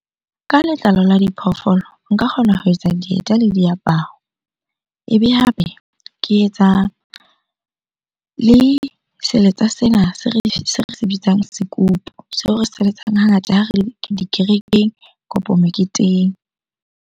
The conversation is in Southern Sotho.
Ka letlalo la diphoofolo, nka kgona ho etsa dieta le diaparo. Ebe hape ke etsa le seletsa sena se re se bitsang sekupu. Seo re se letsang hangata ha re le dikerekeng kapo meketeng.